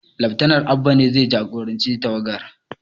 Laftanal Abba ne zai jagoranci tawagar